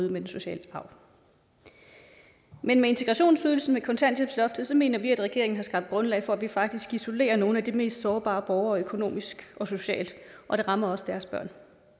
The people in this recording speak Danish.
den sociale arv men med integrationsydelsen og kontanthjælpsloftet mener vi at regeringen har skabt grundlag for at vi faktisk isolerer nogle af de mest sårbare borgere økonomisk og socialt og det rammer også deres børn